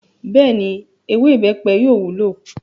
Bẹ́ẹ̀ni, “ewé ìbẹ́pẹ” yóò wúlò.